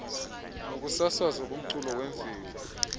nokusasazwa komculo wemveli